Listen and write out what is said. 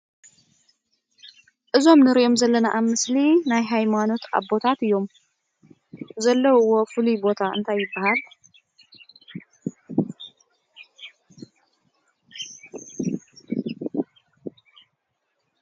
እዞም ንሪኦም ዘለና ኣብ ምስሊ ናይ ሃይማኖት ኣቦታት እዮም፡፡ ዘለዉዎ ፍሉይ ቦታ እንታይ ይበሃል?